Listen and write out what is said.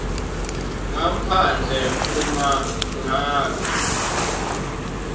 ngaphandle uma ngabe